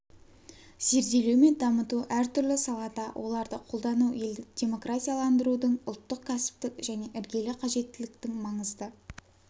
зерделеу мен дамыту әртүрлі салада оларды қолдану елді демократияландырудың ұлттық кәсіптік және іргелі қажеттіліктің маңызды